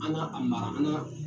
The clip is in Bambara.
An n'a mara an n'a